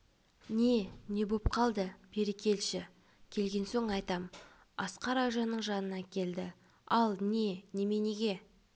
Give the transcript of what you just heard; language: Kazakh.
не не боп қалды бері келші келген соң айтам асқар айжанның жанына келді ал не неменеге